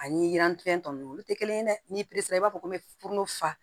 Ani yirantɛn tɔ nunnu olu te kelen ye n'i b'a fɔ ko mɛ furumuso fa